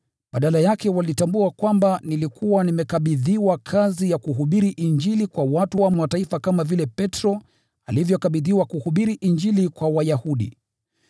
Badala yake walitambua kwamba nilikuwa nimekabidhiwa kazi ya kuhubiri Injili kwa watu wa Mataifa, kama vile Petro alivyokabidhiwa kuhubiri Injili kwa Wayahudi.